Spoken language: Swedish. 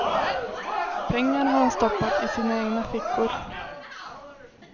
Pengarna har de stoppat i sina egna fickor.